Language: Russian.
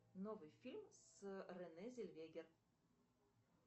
новый фильм с рене зеллвегер